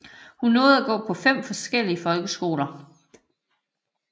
Hun nåede at gå på fem forskellige folkeskoler